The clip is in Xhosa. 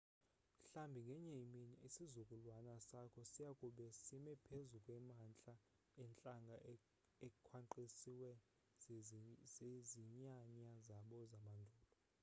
mhlambi ngenye imini, isizukulwana sakho siyakube sime phezu kwamantla eentlanga ekhwankqisiwe zizinyanya zabo zamandulo